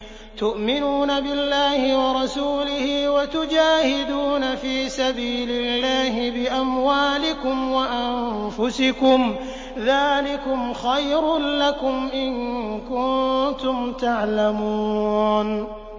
تُؤْمِنُونَ بِاللَّهِ وَرَسُولِهِ وَتُجَاهِدُونَ فِي سَبِيلِ اللَّهِ بِأَمْوَالِكُمْ وَأَنفُسِكُمْ ۚ ذَٰلِكُمْ خَيْرٌ لَّكُمْ إِن كُنتُمْ تَعْلَمُونَ